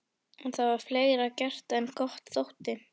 En það var fleira gert en gott þótti.